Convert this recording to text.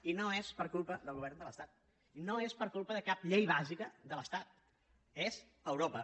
i no és per culpa del govern de l’estat i no és per culpa de cap llei bàsica de l’estat és europa